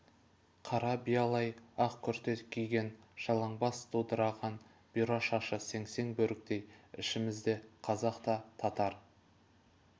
қара биялай ақ күрте киген жалаң бас дудыраған бұйра шашы сеңсең бөріктей ішімізде қазақ та татар